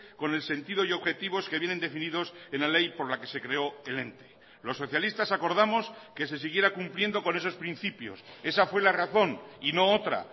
con el sentido y objetivos que vienen definidos en la ley por la que se creo el ente los socialistas acordamos que se siguiera cumpliendo con esos principios esa fue la razón y no otra